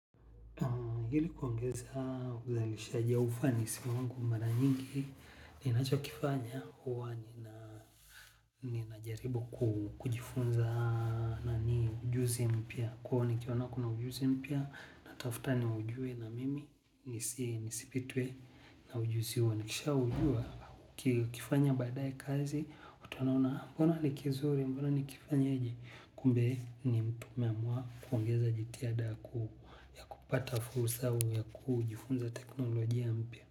Ili kuongeza uzalishaji au ufanisi wangu mara nyingi ninachokifanya huwa ninajaribu kujifunza nani ujuzi mpya. Kwaivo nikiona kuna ujuzi mpya natafta niujue na mimi nisi nisipitwe na ujuzi huo. Nikishaujua ukifanya baadae kazi utaona una mbona ni kizuri mbona nikifanya aje. Kumbe ni mtu umeamua kuongeza jitihada ya kupata fursa au ya kujifunza teknolojia mpya.